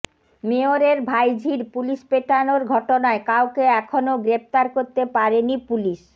মেয়রের ভাইঝির পুলিস পেটানোর ঘটনায় কাউকে এখনও গ্রেফতার করতে পারেনি পুলিস